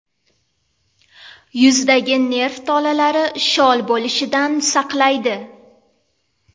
Yuzdagi nerv tolalari shol bo‘lishidan saqlaydi.